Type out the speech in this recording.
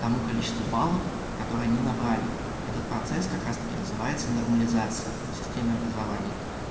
тому количеству баллов которые они набрали этот процесс как раз-таки называется нормализация в системе образования